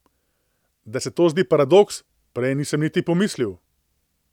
Da se to zdi paradoks, prej nisem niti pomislil.